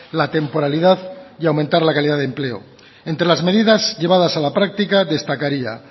la temporalidad y aumentar la calidad de empleo entre las medidas llevadas a la práctica destacaría